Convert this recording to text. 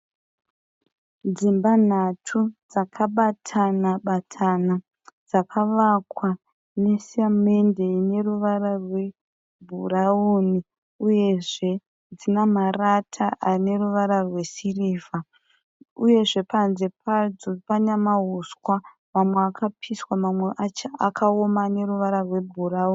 Dzimba nhatu dzakabatana-batana. Dzakavakwa nesamende ine ruvara rwebhurauni uyezve dzina marata ane ruvara rwesirivha uyezve panze padzo pana mahuswa mamwe akapiswa mamwe acho akaoma ane ruvara rwebhurauni.